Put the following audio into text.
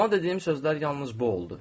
Ona dediyim sözlər yalnız bu oldu.